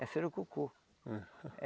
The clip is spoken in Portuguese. É surucucu. Hum